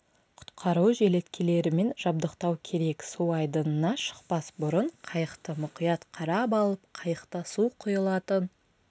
құтқару желеткелерімен жабдықтау керек су айдынына шықпас бұрын қайықты мұқият қарап алып қайықта су құйылатын